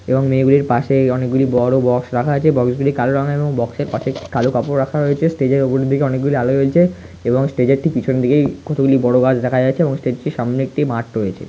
এবং মেয়েদের পাশে অনেকগুলি বড় বক্স রাখা আছে বক্স গুলো কালো রঙের এবংবক্স এর কাছে কালো কাপড় রাখা হয়েছে স্টেজ এর উপর দিকে অনেক গুলো আলো রয়েছে এবং স্টেজ -এর টি পিছন দিকে কতগুলো বোরো গাছ দেখা যাচ্ছে এবং হোস্টেল -টির সামনে একটি মাঠ রয়েছে ।